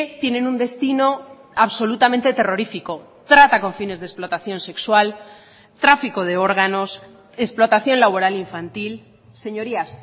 tienen un destino absolutamente terrorífico trata con fines de explotación sexual tráfico de órganos explotación laboral infantil señorías